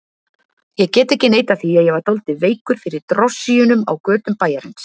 Ég get ekki neitað því að ég var dálítið veikur fyrir drossíunum á götum bæjarins.